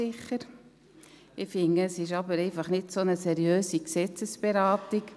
Ich finde, es ist einfach nicht so eine seriöse Gesetzesberatung.